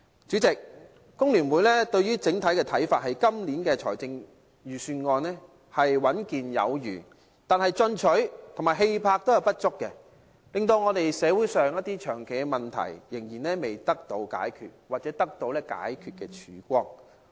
主席，香港工會聯合會對於今年預算案的整體看法是穩健有餘，但進取和氣魄不足，令香港社會上長期的問題仍然未能得到解決或得到解決的曙光。